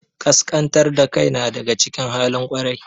Ƙasƙantar da kai na daga cikin halin ƙwarai.